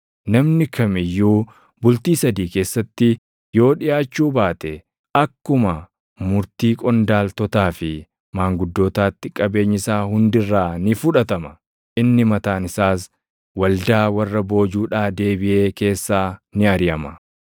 Namni kam iyyuu bultii sadii keessatti yoo dhiʼaachuu baate akkuma murtii qondaaltotaa fi maanguddootaatti qabeenyi isaa hundi irraa ni fudhatama; inni mataan isaas waldaa warra boojuudhaa deebiʼee keessaa ni ariʼama.